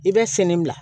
I bɛ fini bila